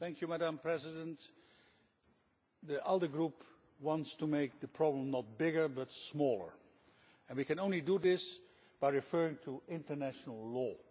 Madam President, the ALDE Group wants to make the problem not bigger, but smaller, and we can only do this by referring to international law.